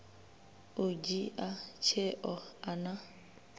u dzhia tsheo a na